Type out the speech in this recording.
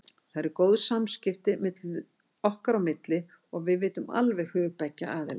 Það eru góð samskipti okkar á milli og við vitum alveg hug beggja aðila.